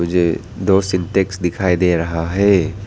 ये दो सिंटेक्स दिखाई दे रहा है।